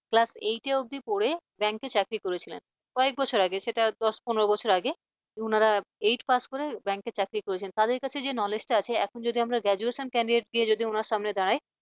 class eight অব্দি পড়ে bank চাকরি করেছিলেন কয়েক বছর আগে সেটা দশ পনেরো বছর আগে উনারা এইট pass করে bank চাকরি করেছেন তাদের কাছে যে knowledge আছে এখন যদি আমরা graduation candidate কে যদি ওনার সামনে যদি দাঁড়ায়